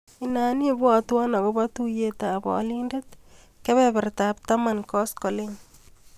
Inan ibwatwa akobo tuiyetap alindet kebebertap taman koskoliny.